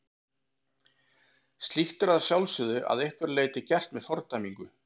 Slíkt er að sjálfsögðu að einhverju leyti gert með fordæmingu.